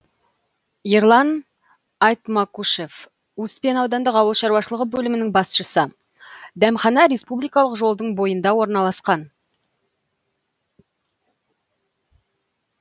ерлан айтмакушев успен аудандық ауыл шаруашылығы бөлімінің басшысы дәмхана республикалық жолдың бойында орналасқан